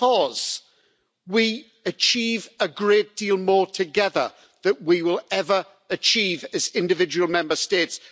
Because we achieve a great deal more together than we will ever achieve as individual Member States.